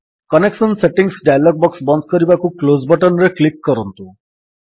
connection settings dialog box ବନ୍ଦ କରିବାକୁ close button ରେ କ୍ଲିକ୍ କରନ୍ତୁ